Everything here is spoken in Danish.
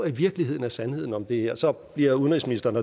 i virkeligheden er sandheden om det her så bliver udenrigsministeren